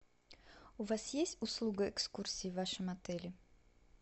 у вас есть услуга экскурсии в вашем отеле